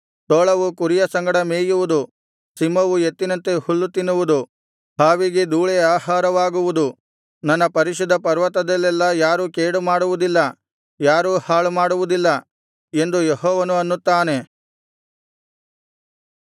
ತೋಳವು ಕುರಿಯ ಸಂಗಡ ಮೇಯುವುದು ಸಿಂಹವು ಎತ್ತಿನಂತೆ ಹುಲ್ಲು ತಿನ್ನುವುದು ಹಾವಿಗೆ ಧೂಳೇ ಆಹಾರವಾಗುವುದು ನನ್ನ ಪರಿಶುದ್ಧ ಪರ್ವತದಲ್ಲೆಲ್ಲಾ ಯಾರೂ ಕೇಡು ಮಾಡುವುದಿಲ್ಲ ಯಾರೂ ಹಾಳು ಮಾಡುವುದಿಲ್ಲ ಎಂದು ಯೆಹೋವನು ಅನ್ನುತ್ತಾನೆ